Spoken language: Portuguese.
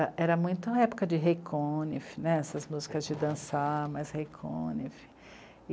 Ah, era muita época de rei cônif, essas músicas de dançar, mas rei cônif.